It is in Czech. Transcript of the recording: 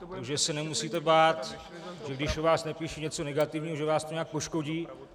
Takže se nemusíte bát, že když o vás napíší něco negativního, že vás to nějak poškodí.